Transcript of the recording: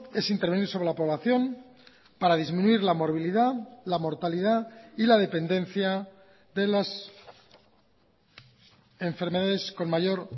es intervenir sobre la población para disminuir la morbilidad la mortalidad y la dependencia de las enfermedades con mayor